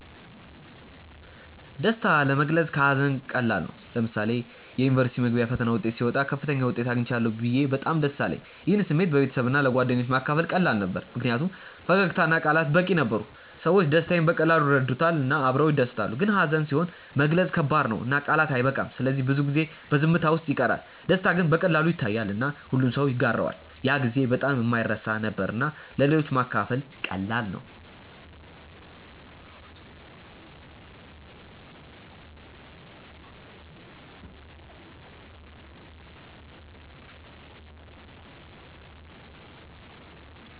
ደስታ ለመግለጽ ከሀዘን ቀላል ነው። ለምሳሌ የዩኒቨርሲቲ መግቢያ ፈተና ውጤት ሲወጣ ከፍተኛ ውጤት አግኝቻለሁ ብዬ በጣም ደስ አለኝ። ይህን ስሜት ለቤተሰብና ለጓደኞቼ ማካፈል ቀላል ነበር ምክንያቱም ፈገግታ እና ቃላት በቂ ነበሩ። ሰዎች ደስታዬን በቀላሉ ይረዱታል እና አብረው ይደሰታሉ። ግን ሀዘን ሲሆን መግለጽ ከባድ ነው እና ቃላት አይበቃም ስለዚህ ብዙ ጊዜ በዝምታ ውስጥ ይቀራል። ደስታ ግን በቀላሉ ይታያል እና ሁሉም ሰው ይጋራዋል። ያ ጊዜ በጣም የማይረሳ ነበር እና ለሌሎች ማካፈል ቀላል ነበር።